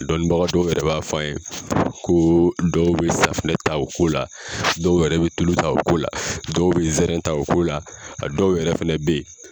Dɔnnibaga dɔw yɛrɛ b'a fɔ an ye ko dɔw bɛ safunɛ ta o ko la dɔw yɛrɛ bɛ tulu ta o ko la dɔw bɛ zɛrɛn ta o ko la a dɔw yɛrɛ fɛnɛ bɛ ye